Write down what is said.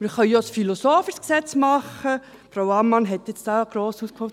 Wir können auch ein philosophisches Gesetz machen, Frau Ammann hat hier gross ausgeholt.